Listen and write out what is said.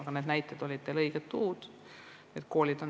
Koolid ongi need tavalised paigad, kust nõu saab.